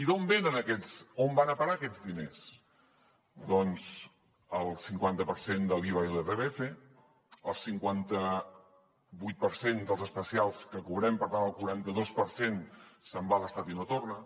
i on van a parar aquests diners doncs el cinquanta per cent de l’iva i l’irpf el cinquanta vuit per cent dels especials que cobrem per tant el quaranta dos per cent se’n va a l’estat i no torna